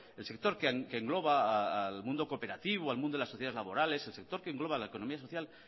el sector que engloba al mundo cooperativo al mundo de las sociedades labores el sector que engloba la economía social